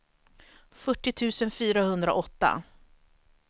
fyrtio tusen fyrahundraåtta